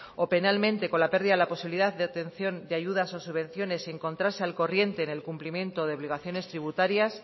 o penalmente con la pérdida de la posibilidad de obtención de ayudas o subvenciones y encontrarse al corriente en el cumplimiento de obligaciones tributarias